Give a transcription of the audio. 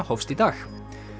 hófst í dag